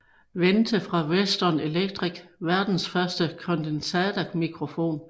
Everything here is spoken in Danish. Wente fra Western Electric verdens første kondensatormikrofon